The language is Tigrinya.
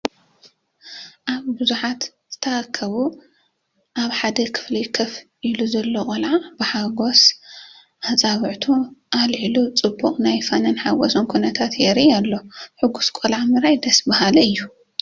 ኣብ ብዙሓት ዝተኣከቡ ኣብ ሓደ ክፍሊ ኮፍ ኢሉ ዘሎ ቆልዓ ብሓጎስ ኣጻብዕቱ ኣልዒሉ “ጽቡቕ” ናይ ፍናንን ሓጎስን ኩነታት የርኢ ኣሎ። ሕጉስ ቆልዓ ምርኣይ ደስ በሃሊ እዩ፡፡